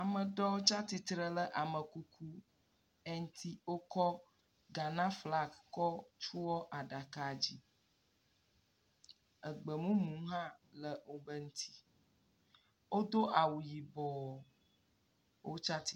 Ame ɖewo tsia tsi tre ɖe amekuku aɖe ŋuti. Wokɔ Ghana flagi tsɔ tsɔe aɖaka dzi. Egbemumu hã le woƒe dzi. Wodo awu yibɔ wotsa tsi……